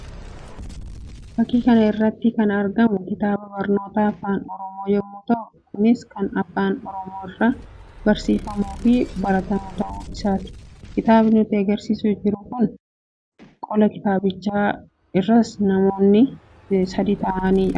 Fakkii kana irratti kan argamu kitaaba barnootaa afaan Oromooo yammuu ta'u; kunis kan afaan Oromoo irraa barsiifamuu fi baratamu ta'uu isaa kitaaba nutti agarsiisaa jiruu dha. Qola kitaabichaa irras namoonni sadii ta'an kan argamanii dha.